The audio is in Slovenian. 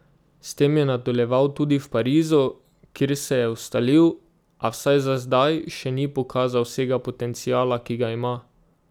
S tem je nadaljeval tudi v Parizu, kjer se je ustalil, a, vsaj za zdaj, še ni pokazal vsega potenciala, ki ga ima.